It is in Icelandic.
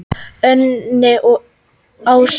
Unni og Ásu.